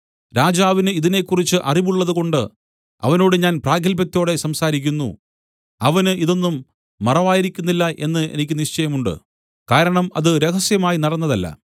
രാജാവിന് ഇതിനെക്കുറിച്ച് അറിവുള്ളതുകൊണ്ട് അവനോട് ഞാൻ പ്രാഗത്ഭ്യത്തോടെ സംസാരിക്കുന്നു അവന് ഇത് ഒന്നും മറവായിരിക്കുന്നില്ല എന്ന് എനിക്ക് നിശ്ചയമുണ്ട് കാരണം അത് രഹസ്യമായി നടന്നതല്ല